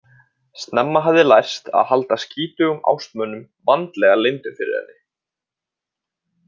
Snemma hafði lærst að halda skítugum ástmönnum vandlega leyndum fyrir henni.